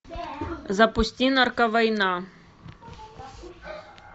запусти нарковойна